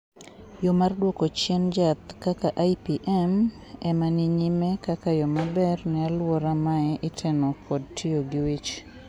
yo mar duoko chien jaath kaka IPM ema ni nyime kaka yo maber ne aluora mae iteno kod tiyo gi wich